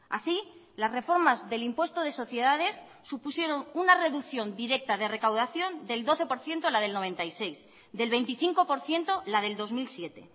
así las reformas del impuesto de sociedades supusieron una reducción directa de recaudación del doce por ciento la del noventa y seis del veinticinco por ciento la del dos mil siete